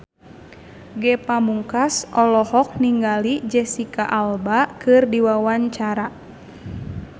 Ge Pamungkas olohok ningali Jesicca Alba keur diwawancara